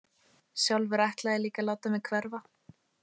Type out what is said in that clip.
Sjálfur ætlaði ég líka að láta mig hverfa.